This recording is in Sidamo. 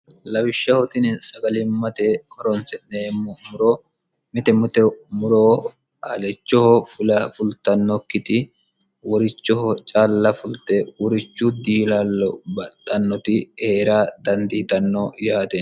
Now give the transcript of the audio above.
lawishshahotini sagalimmate horonsi'neemmo muro mite mute muro alechoho fulafultannokkiti worichoho calla fulte worichu diilallo baxxannoti heera dandiidanno yaate